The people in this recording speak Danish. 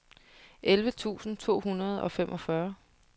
elleve tusind to hundrede og femogfyrre